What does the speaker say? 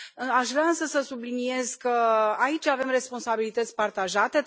Aș vrea însă să subliniez că aici avem responsabilități partajate.